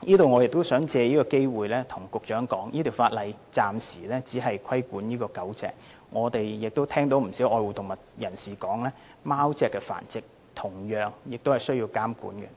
我亦想藉此機會告訴局長，這項修訂規例暫時只是規管狗隻的繁殖，我們聽到不少愛護動物人士表示，貓隻的繁殖同樣需要監管。